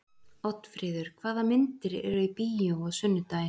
Oddfríður, hvaða myndir eru í bíó á sunnudaginn?